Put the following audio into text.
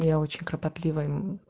и я очень кропотливая мм